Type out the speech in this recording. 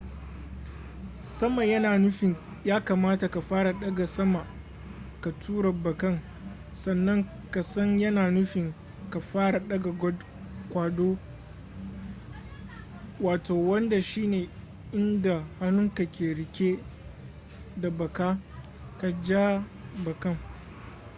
sama yana nufin ya kamata ka fara daga sama ka tura bakan sannan kasan yana nufin ka fara daga kwado wanda shine inda hannunka ke rike da baka ka ja bakan